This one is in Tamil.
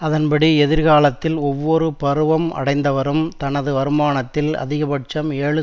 அதன்படி எதிர்காலத்தில் ஒவ்வொரு பருவம் அடைந்தவரும் தனது வருமானத்தில் அதிகபட்சம் ஏழு